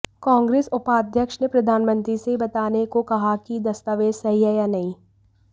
कांग्रेस उपाध्यक्ष ने प्रधानमंत्री से यह बताने को कहा कि दस्तावेज सही हैं या नहीं